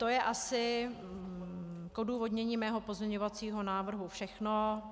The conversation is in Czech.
To je asi k odůvodnění mého pozměňovacího návrhu všechno.